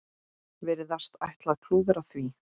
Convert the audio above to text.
Virðast ætla að klúðra því.